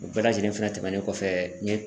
O bɛɛ lajɛlen fɛnɛ tɛmɛnen kɔfɛ n ye